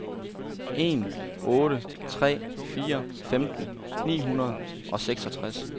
en otte tre fire femten ni hundrede og seksogtres